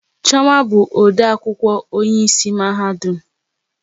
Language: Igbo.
Chioma bụ ode akwụkwọ onye isi mahadum